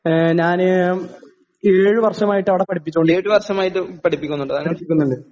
ഏഹ് ഞാന് ഏഴുവർഷമായിട്ടവടെ പഠിപ്പിച്ചോണ്ടി പഠിപ്പിക്കുന്നുണ്ട്.